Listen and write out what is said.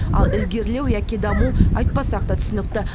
ал ілгерілеу яки даму айтпасақ та түсінікті